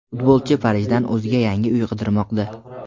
futbolchi Parijdan o‘ziga yangi uy qidirmoqda.